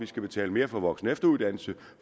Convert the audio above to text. skal betale mere for voksen og efteruddannelse